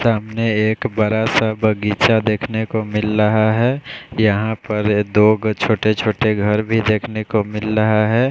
सामने एक बड़ा सा बगीचा देखने को मिल रहा है यहाँ पर दो घ छोटे छोटे घर भी देखने को मिल रहा है।